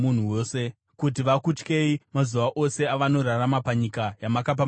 kuti vakutyei mazuva ose avanorarama panyika yamakapa madzibaba edu.